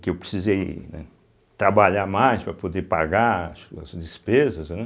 Que eu precisei, né trabalhar mais para poder pagar as despesas, né.